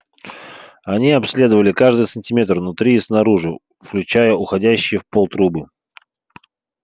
они обследовали каждый сантиметр внутри и снаружи включая уходящие в пол трубы